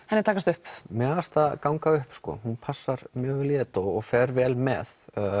henni takast upp mér fannst það ganga upp sko hún passar mjög vel í þetta og fer mjög vel með